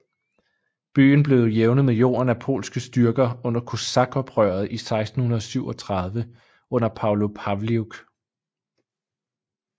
Byen blev jævnet med jorden af polske styrker under kosakoprøret i 1637 under Pavlo Pavliuk